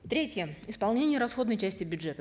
третье исполнение расходной части бюджета